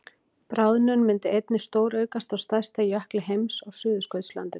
bráðnun myndi einnig stóraukast á stærsta jökli heims á suðurskautslandinu